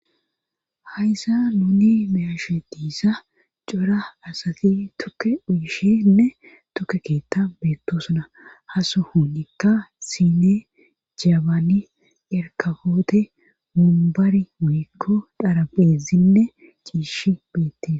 Haysa nuni meyashe diisa cora asati tukke uyishenne tukke keetta beettosuna haso hunikka sine jabaani erkafoote mumbari muyikko dharabesinne ciishi beettie